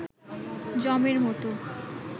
যমের মতো